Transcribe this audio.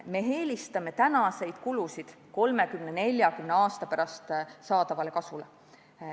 Me eelistame tänaseid kulutusi 30–40 aasta pärast saadavale kasule.